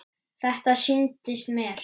Þetta sýndist mér!